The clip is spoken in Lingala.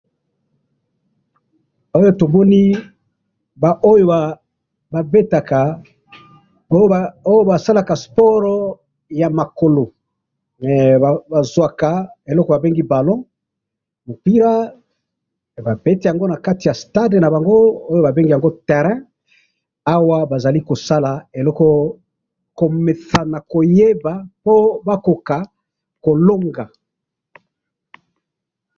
awa tomoni ba oyo ba betaka oyo basalaka sport ya makolohee bazwaka oyo ba bengaka ballon mupila ba beti yango nakati ya stade nabango ooyo babengaka terrain komesana oyo ba bengaka ko longa